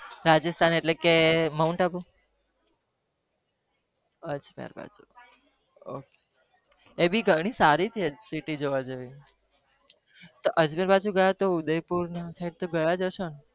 રાજ્સ્થામ એટેલ કે મૌંટ આવું